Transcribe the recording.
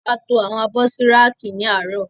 A to àwọn abọ́ sí rákì ní àárọ̀.